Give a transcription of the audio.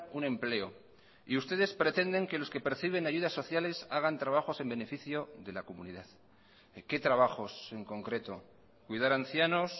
un empleo y ustedes pretenden que los que perciben ayudas sociales hagan trabajos en beneficio de la comunidad qué trabajos en concreto cuidar ancianos